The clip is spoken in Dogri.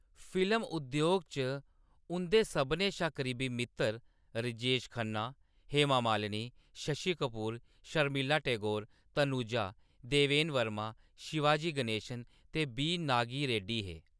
फिल्म उद्योग च उंʼदे सभनें शा करीबी मित्तर राजेश खन्ना, हेमा मालिनी, शशि कपूर, शर्मिला टैगोर, तनुजा, देवेन वर्मा, शिवाजी गणेशन ते बी. नागी रेड्डी हे।